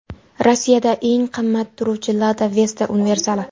Rossiyada eng qimmat turuvchi Lada Vesta universali.